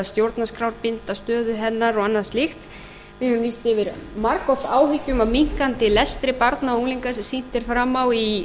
stjórnarskrárbinda stöðu hennar og annað slíkt við höfum lýst yfir margoft áhyggjum af minnkandi lestri barna og unglinga sem sýnt er fram á í